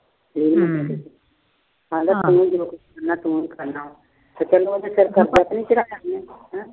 ਤੇ ਪਹਿਲਾ ਉਹਦਾ ਸਿਰ ਖਾਂਦਾ ਸੀ।